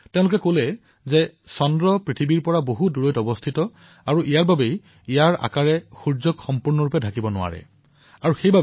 তেওঁলোকে কৈছিল যে যিহেতু চন্দ্ৰমা পৃথিৱীতকৈ বহু আঁতৰত আৰু সেইবাবে ইয়াৰ আকাৰে সম্পূৰ্ণৰূপে সূৰ্যক ঢাকি পেলাব নোৱাৰে আৰু তাৰ বাবেই এনে পৰিঘটনাৰ সৃষ্টি হয়